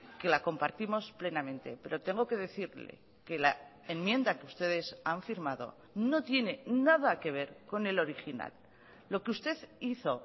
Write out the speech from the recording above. que la compartimos plenamente pero tengo que decirle que la enmienda que ustedes han firmado no tiene nada que ver con el original lo que usted hizo